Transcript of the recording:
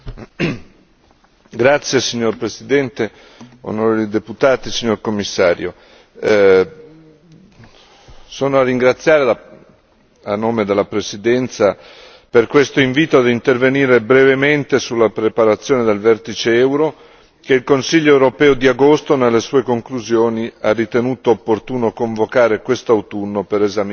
Signor Presidente, onorevoli deputati, signor Commissario, vorrei ringraziare a nome della Presidenza per questo invito ad intervenire brevemente sulla preparazione del vertice euro, che il Consiglio europeo di agosto nelle sue conclusioni ha ritenuto opportuno convocare questo autunno per esaminare la situazione economica.